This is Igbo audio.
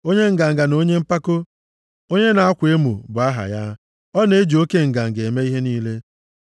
Onye nganga na onye mpako, onye na-akwa emo bụ aha ya. Ọ na-eji oke nganga eme ihe niile.